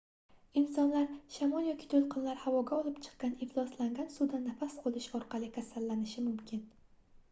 insonlar shamol yoki toʻlqinlar havoga olib chiqqan ifloslangan suvdan nafas olish orqali kasallanishi mumkin